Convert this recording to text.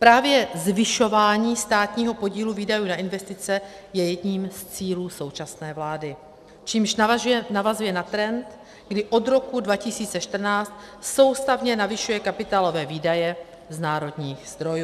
Právě zvyšování státního podílu výdajů na investice je jedním z cílů současné vlády, čímž navazuje na trend, kdy od roku 2014 soustavně navyšuje kapitálové výdaje z národních zdrojů.